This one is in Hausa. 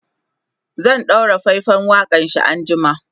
za'a ɗaura faifan waƙanshi an jima